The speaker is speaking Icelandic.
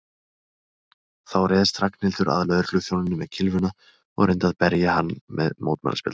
Þá réðst Ragnhildur að lögregluþjóninum með kylfuna og reyndi að berja hann með mótmælaspjaldinu.